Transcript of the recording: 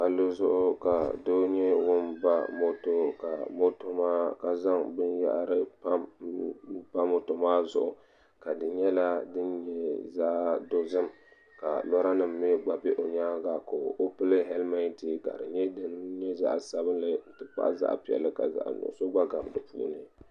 palli zuɣu ka doo nyɛ ŋun ba moto ka zaŋ binyɛhari m pa moto maa zuɣu ka di nyɛla din nyɛ zaɣ' dozim ka loorinima mi gba be o nyaa-ŋa ka o pili hɛlimɛnti ka di nyɛ din nyɛ zaɣ' sabilinli nti pahi zaɣ' piɛlli ka zaɣ' nuɣiso gba gabi di puuni